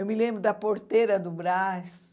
Eu me lembro da porteira do Brás.